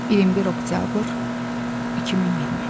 21 oktyabr 2020.